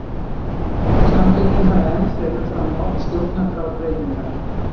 Samtökin fara enn fremur fram á stjórnarskrárbreytingar